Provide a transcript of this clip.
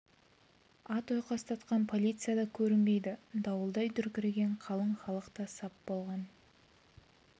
ат ойқастатқан полиция да көрінбейді дауылдай дүркіреген қалың халық та сап болған